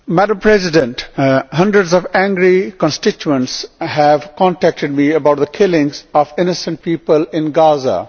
Madam President, hundreds of angry constituents have contacted me about the killing of innocent people in Gaza.